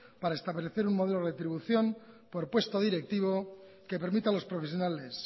para establecer un modelo de retribución por puesto directivo que permita a los profesionales